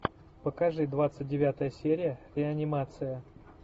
покажи двадцать девятая серия реанимация